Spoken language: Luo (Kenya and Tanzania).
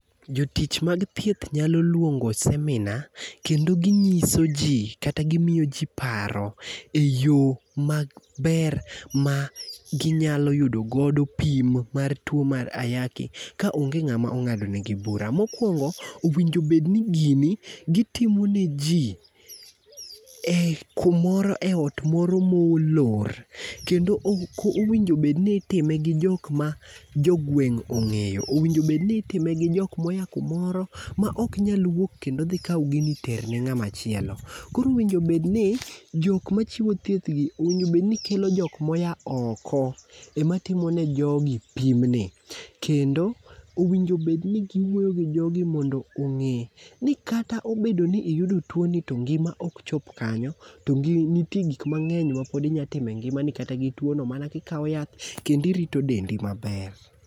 Jotich mag thieth nyalo lwongo seminar kendo ginyiso ji kata gimiyo ji paro e yo maber ma ginyalo yudo godo pim mar tuwo mar ayaki ka onge ng'ama ong'ado negi bura. Mokwongo, owinjo obed ni gini gitimo ne ji kumoro,e ot moro molor, kendo owinjo obedni itime gi jok ma jogweng' ong'eyo, owinjo ni itime gi jok moya kumoro ma ok nyal wuok kendo dhi kaw gini ter ni ng'at machielo. Koro owinjo obedni, Jok machiwo thieth gi, owinjo obedni kelo jok moya oko, ema timo ne jogi pimni, kendo owinjo obed ni giwuoyo gi jogi mondo ong'i ni kata obedo ni iyudo tuwoni to ngima ok chop kanyo, to nitie gik mang'eny mapod inyalo timo e ngimani kata gi tuwono mana kikawo yath kendo irito dendi maber.